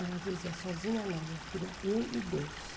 Ela dizia, sozinha não, minha filha, eu e Deus.